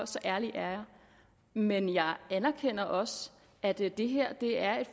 ærlig er jeg men jeg anerkender også at det det her er